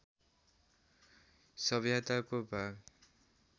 सभ्यताको भाग